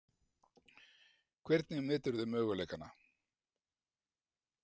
Hvernig meturðu möguleikana?